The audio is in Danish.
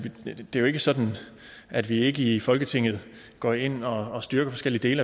det jo ikke sådan at vi ikke i folketinget går ind og styrker forskellige dele